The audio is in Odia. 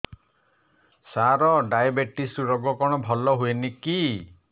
ସାର ଡାଏବେଟିସ ରୋଗ କଣ ଭଲ ହୁଏନି କି